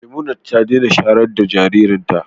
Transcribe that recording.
Memunat ta daina shayar da jaririnta.